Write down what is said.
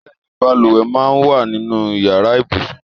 Bẹẹni, bàlùwẹ̀ máa ń wà nínú Ìyàrá ibùsùn.